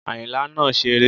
Àyìnlá náà ń ṣére